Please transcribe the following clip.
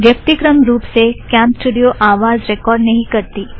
व्यक्तिक्रम रुप से कॅमस्टूड़ियो आवाज़ रेकॉर्ड़ नहीं करती